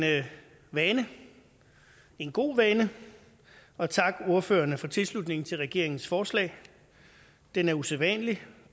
vane en god vane at takke ordførerne for tilslutningen til regeringens forslag den er usædvanlig